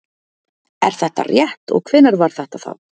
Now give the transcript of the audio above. Er þetta rétt og hvenær var þetta þá?